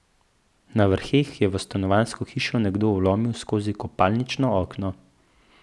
Na Vrheh je v stanovanjsko hišo nekdo vlomil skozi kopalnično okno.